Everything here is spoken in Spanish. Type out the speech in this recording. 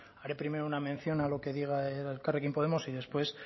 hare primero una mención a lo que diga elkarrekin podemos y después